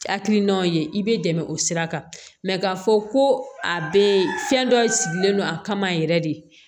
Hakilinaw ye i bɛ dɛmɛ o sira kan k'a fɔ ko a bɛ fɛn dɔ sigilen don a kama yɛrɛ de